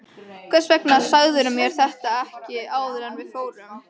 Hvers vegna sagðirðu mér þetta ekki áður en við fórum?